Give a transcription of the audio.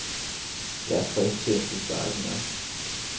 Jeg er frisk til enkeltstarten i aften.